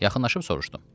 Yaxınlaşıb soruşdum.